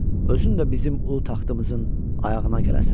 Özün də bizim ulu taxtımızın ayağına gələsən.